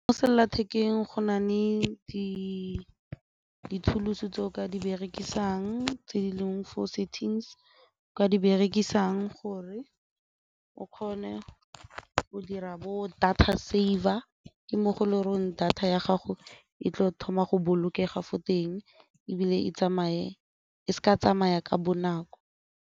Mo sellathekeng go na le di-tools-o tse o ka di berekisang tse di leng for settings, o ka di berekisang gore o kgone go dira bo data server ke mo go leng gore data ya gago e tlo thoma go bolokega fo teng ebile e tsamaye e se ka tsamaya ka bonako.